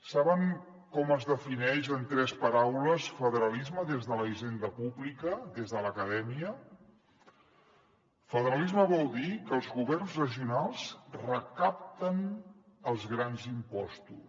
saben com es defineix en tres paraules federalisme des de la hisenda pública des de l’acadèmia federalisme vol dir que els governs regionals recapten els grans im·postos